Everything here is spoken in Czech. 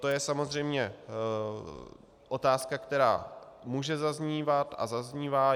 To je samozřejmě otázka, která může zaznívat a zaznívá.